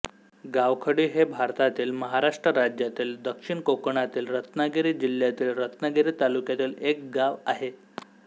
गावखडी हे भारतातील महाराष्ट्र राज्यातील दक्षिण कोकणातील रत्नागिरी जिल्ह्यातील रत्नागिरी तालुक्यातील एक गाव आहे